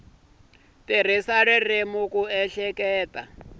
tirhisa ririmi ku ehleketa no